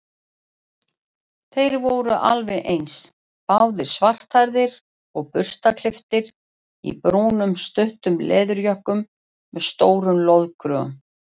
Þeir voru alveg eins, báðir svarthærðir og burstaklipptir í brúnum stuttum leðurjökkum með stórum loðkrögum.